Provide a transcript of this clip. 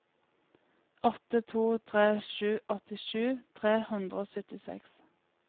åtte to tre sju åttisju tre hundre og syttiseks